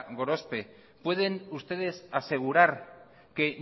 gorospe pueden ustedes asegurar que